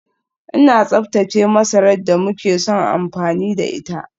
Ina tsaftace masarar da muke son amfani da ita